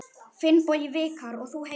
Finnbogi Vikar: Og þú heitir?